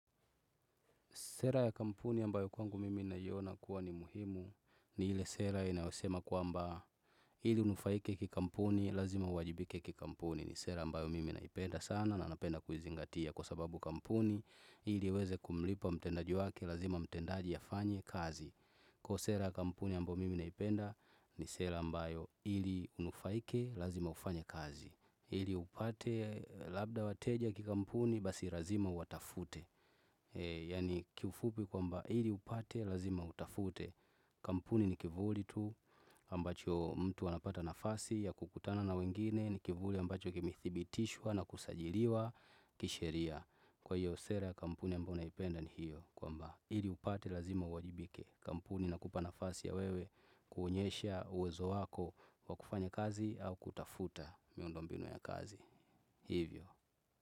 Sera ya kampuni ambayo kwangu mimi naiona kuwa ni muhimu ni ile sera inayosema kwamba hili unufaike kikampuni lazima uwajibike kikampuni ni sera ambayo mimi naipenda sana na napenda kuizingatia kwa sababu kampuni hili iweze kumlipa mtendaji wake lazima mtendaji afanye kazi kwa sera ya kampuni ambayo mimi naipenda ni sera ambayo ili unufaike lazima ufanya kazi ili upate labda wateja kikampuni basi lazima uwatafute yani kiufupi kwamba ili upate lazima utafute kampuni ni kivuli tu ambacho mtu anapata nafasi ya kukutana na wengine ni kivuli ambacho kimethibitishwa na kusajiriwa kisheria kwahiyo sera ya kampuni ambayo naipenda ni hiyo kwamba ili upate lazima uwajibike kampuni inakupa nafasi ya wewe kuonyesha uwezo wako wa kufanya kazi au kutafuta miundombinu ya kazi hivyo.